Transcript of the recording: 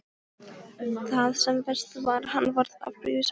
Það sem verst var: hann varð afbrýðisamur.